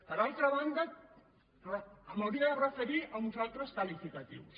per altra banda m’hi hauria de referir amb uns altres qualificatius